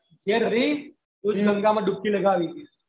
ફિર અભી પૂરી ગંગા માં ડૂબકી લગાવી